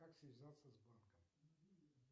как связаться с банком